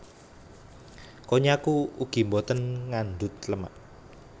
Konnyaku ugi boten ngandhut lemak